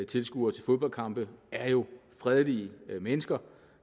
tilskuere til fodboldkampe er jo fredelige mennesker